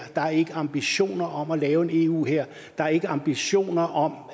der er ikke ambitioner om at lave en eu hær der er ikke ambitioner om